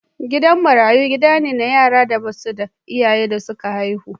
Gidan marayu gida ne na yaran da ba su da iyayen da suka haihu.